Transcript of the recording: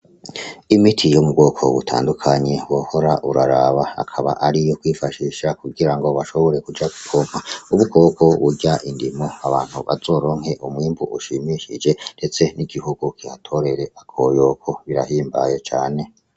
Imiti yo mu bwoko butandukaye wohora uraraba akaba ariyo kwifashisha kugira bashobore kuja gupompa udukoko turya indimu abantu bazoronke umwimbu ushimishije ndetse n'igikoko kihatorere akoyoko birahimbaye cane.